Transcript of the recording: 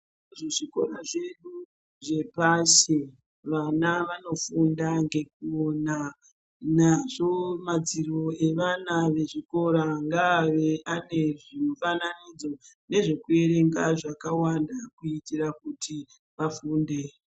Kuzvikora zvedu zvepashi vana vanofunda ngekupona nazvo madziro evana vezvikora ngave ane zvimufananidzo nezvekuerenga zvakawanda kuitira kuti vafunde.